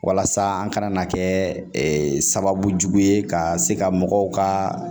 Walasa an kana na kɛ sababu ye ka se ka mɔgɔw ka